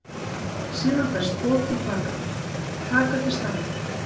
Síðan berst boð til baka: Taka til starfa.